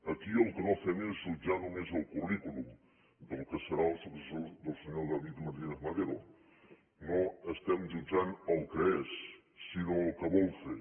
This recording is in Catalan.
aquí el que no fem és jutjar només el currículum del que serà el successor del senyor david martínez madero no estem jutjant el que és sinó el que vol fer